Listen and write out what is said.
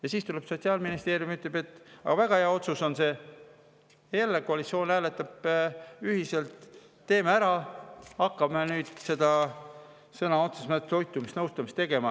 Ja siis tuleb Sotsiaalministeerium ja ütleb, et see on väga hea otsus – jälle koalitsioon hääletab ühiselt, et teeme ära –, et hakkame nüüd sõna otseses mõttes toitumisnõustamist tegema.